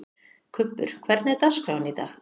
Kubbur, hvernig er dagskráin í dag?